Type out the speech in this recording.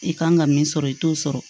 I kan ka min sɔrɔ i t'o sɔrɔ